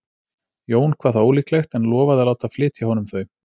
Jón kvað það ólíklegt en lofaði að láta flytja honum þau.